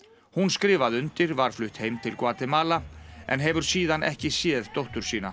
hún skrifaði undir var flutt aftur heim til Gvatemala en hefur síðan ekki séð dóttur sína